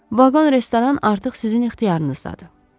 Vaqon restoran artıq sizin ixtiyarınızdadır.